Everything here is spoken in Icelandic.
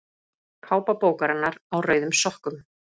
Kápa bókarinnar Á rauðum sokkum.